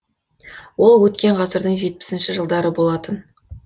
ол өткен ғасырдың жетпісінші жылдары болатын